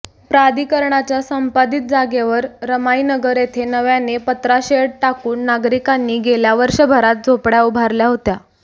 प्राधिकरणाच्या संपादित जागेवर रमाईनगर येथे नव्याने पत्राशेड टाकून नागरिकांनी गेल्या वर्षभरात झोपड्या उभारल्या होत्या